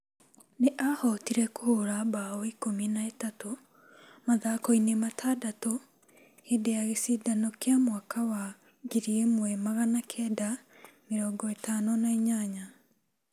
Nĩ aahotire kũhũũra bao ikũmi na ĩtatũ mathako-inĩ matandatũ hĩndĩ ya gĩcindano kĩa mwaka wa mwaka wa ngiri ĩmwe magana kenda mĩrongo ĩtano na inyanya.